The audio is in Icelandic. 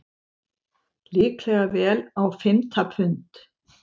Líklega vel á fimmta pund.